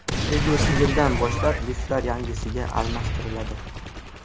Kelgusi yildan boshlab liftlar yangisiga almashtiriladi.